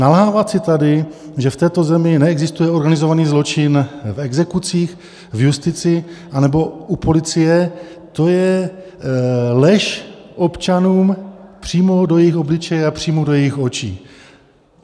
Nalhávat si tady, že v této zemi neexistuje organizovaný zločin v exekucích, v justici nebo u policie, to je lež občanům přímo do jejich obličeje a přímo do jejich očí.